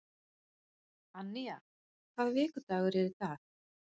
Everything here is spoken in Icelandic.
Annía, hvaða vikudagur er í dag?